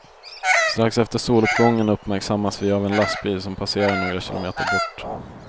Strax efter soluppgången uppmärksammas vi av en lastbil som passerar några kilometer bort.